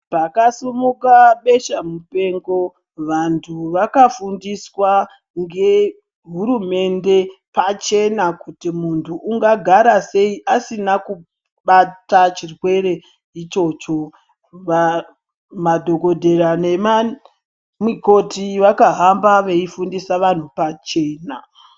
Pakasimuka beshamupengo, vantu vakafundiswa ngehurumende pachena kuti muntu ungagarasei asina kubata chirwere ichocho. Madhogodheya nemamikoti vakahamba veifundisa vantu pachena.